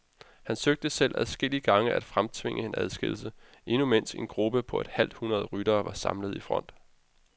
Han søgte selv adskillige gange at fremtvinge en udskillelse, endnu mens en gruppe på et halvt hundrede ryttere var samlet i front.